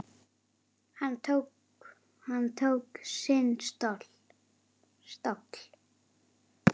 Hann tók sinn toll.